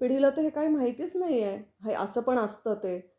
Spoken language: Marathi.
पिढीला ते हे काही माहितीच नाही आहे, हे असं पण असतं ते.